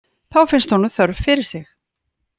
Þá finnst honum þörf fyrir sig.